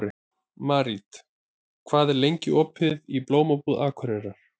Marit, hvað er lengi opið í Blómabúð Akureyrar?